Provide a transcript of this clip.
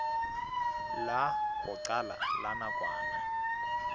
la ho qala la nakwana